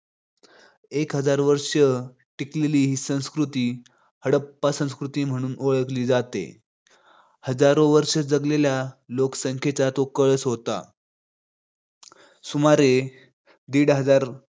एक हजार वर्ष टिकलेली ही संस्कृती हडप्पा संस्कृती म्हणून ओळखली जाते. हजारो वर्षे जगलेल्या लोकसंख्येचा तो कळस होता सुमारे दिड हजार